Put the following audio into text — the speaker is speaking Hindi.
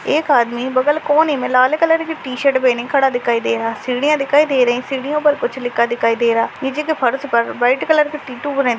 एक आदमी बगल कोने मे लाल कलर की टी-शर्ट पहने खड़ा दिखाई दे रहा है सीढ़ियां दिखाई दे रही सीढ़ियों पर कुछ लिखा दिखाई दे रहा नीचे के फर्स पर व्हाइट कलर का टेटू बना--